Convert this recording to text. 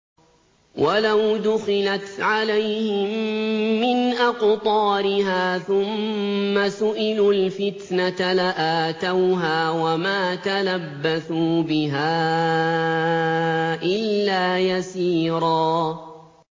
وَلَوْ دُخِلَتْ عَلَيْهِم مِّنْ أَقْطَارِهَا ثُمَّ سُئِلُوا الْفِتْنَةَ لَآتَوْهَا وَمَا تَلَبَّثُوا بِهَا إِلَّا يَسِيرًا